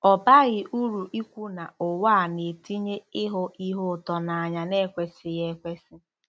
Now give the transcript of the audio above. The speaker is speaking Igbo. Ọ baghị uru ikwu na ụwa a na-etinye ‘ịhụ ihe ụtọ n’anya na-ekwesịghị ekwesị. '